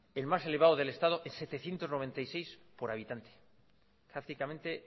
el más elevado del estado es setecientos noventa y seis por habitante prácticamente